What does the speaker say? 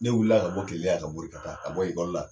Ne wulila ka bɔ Keleya yan ka bori ka taa ka bɔ la.